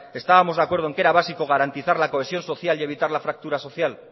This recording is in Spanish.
estábamos de acuerdo en que era básico garantizar la cohesión social y evitar la fractura social